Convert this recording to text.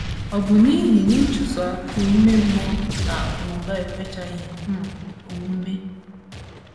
Ọ bụ n’ihi na ịchụso akụ̀ ime mmụọ na akụnụba ekwechaghị um omume.